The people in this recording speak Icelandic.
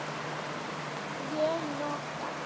Ég nota